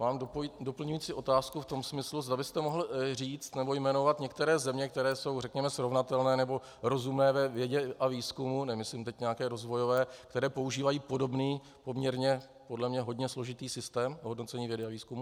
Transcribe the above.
Mám doplňující otázku v tom smyslu, zda byste mohl říct nebo jmenovat některé země, které jsou, řekněme, srovnatelné nebo rozumné ve vědě a výzkumu - nemyslím teď nějaké rozvojové -, které používají podobný, poměrně podle mě hodně složitý systém hodnocení vědy a výzkumu.